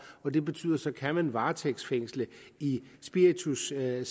og det betyder så kan varetægtsfængsle i spiritussager